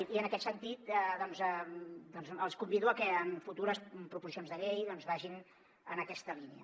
i en aquest sentit doncs els convido a que en futures proposicions de llei vagin en aquesta línia